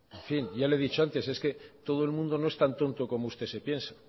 en fin ya le he dicho antes que todo el mundo no es tan tonto como usted se piensa